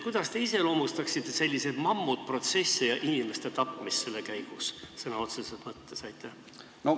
Kuidas te iseloomustaksite selliseid mammutprotsesse ja inimeste tapmist nende käigus vaat et sõna otseses mõttes?